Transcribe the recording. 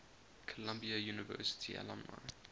columbia university alumni